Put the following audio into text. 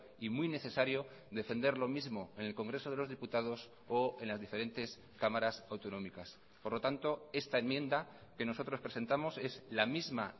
y muy necesario defender lo mismo en el congreso de los diputados o en las diferentes cámaras autonómicas por lo tanto esta enmienda que nosotros presentamos es la misma